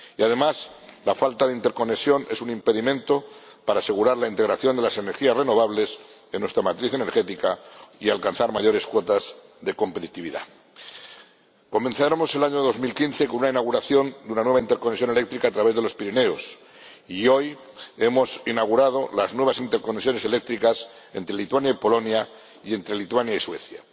Y, además, la falta de interconexión es un impedimento para asegurar la integración de las energías renovables en nuestra matriz energética y alcanzar mayores cuotas de competitividad. Comenzaremos el año 2015 con una inauguración y una nueva interconexión eléctrica a través de los Pirineos, y hoy hemos inaugurado las nuevas interconexiones eléctricas entre Lituania y Polonia, y entre Lituania y Suecia.